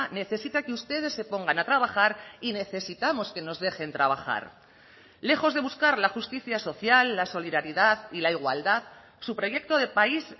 necesita que ustedes se pongan a trabajar y necesitamos que nos dejen trabajar lejos de buscar la justicia social la solidaridad y la igualdad su proyecto de país